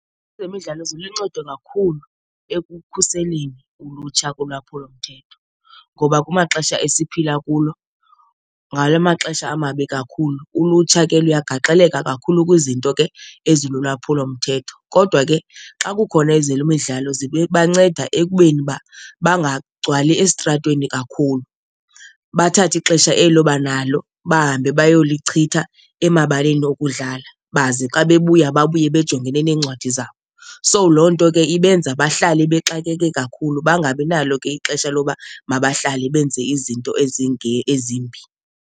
Ezemidlalo ziluncedo kakhulu ekukhuseleni ulutsha kulwaphulomthetho ngoba kumaxesha esiphila kulo ngala maxesha amabi kakhulu, ulutsha ke luyagaxeleka kakhulu kwizinto ke ezilulwaphulomthetho. Kodwa ke nge xa kukhona le midlalo ibanceda ekubeni uba bangagcwali esitratweni kakhulu, bathathe ixesha elo banalo bahambe bayolichitha emabaleni okudlala baze xa bebuya babuye bejongene neencwadi zabo. So loo nto ke ibenza bahlale bexakeke kakhulu, bangabi nalo ke ixesha loba mabahlale benze izinto ezimbi.